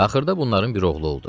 Axırda bunların bir oğlu oldu.